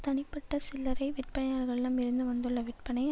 தனிப்பட்ட சில்லறை விற்பனையாளர்களம் இருந்து வந்துள்ள விற்பனை